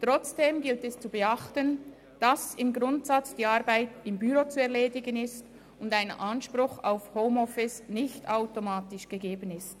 Trotzdem gilt es zu beachten, dass im Grundsatz die Arbeit im Büro zu erledigen ist und ein Anspruch auf Homeoffice nicht automatisch gegeben ist.